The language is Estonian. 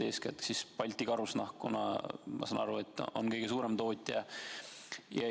Kõige suurem tootja on ilmselt Balti Karusnahk, nagu ma aru saan.